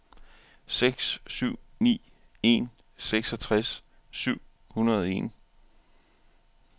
seks syv ni en seksogtres syv hundrede og en